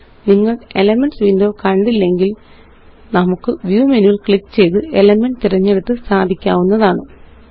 നിങ്ങള്Elements window കണ്ടില്ലെങ്കില് നമുക്കത്View മെനുവില് ക്ലിക്ക് ചെയ്ത് എലിമെന്റ്സ് തിരഞ്ഞെടുത്ത് സാധിക്കാവുന്നതാണ്